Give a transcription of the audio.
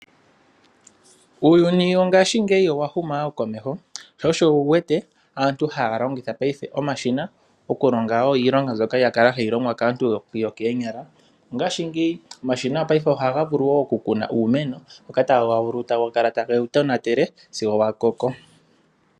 Uuyuni wongashingeyi owa huma wo komeho. Sho osho wu wete aantu ha longitha paife omashina okulonga wo iilonga mboka ya kala hayi longwa kaantu yokoonyala. Ngashingeyi omashina oha ga vulu wo okukuna uumeno ngoka taga vulu taga kala ta gewu tonatele sigo wa koko.